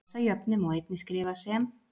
þessa jöfnu má einnig skrifa sem